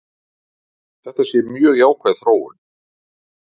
Þetta sé mjög jákvæð þróun.